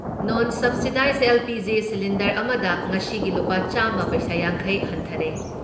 ꯅꯣꯟ subsidised LPG. Cylinder ꯑꯃꯗ ꯉꯁꯤꯒꯤ ꯂꯨꯄꯥ ꯆꯥꯝꯃ ꯄꯩꯁꯥ ꯌꯥꯡꯈꯩ ꯍꯟꯊꯔꯦ ꯫